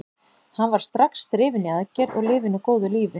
Hann var strax drifinn í aðgerð og lifir nú góðu lífi.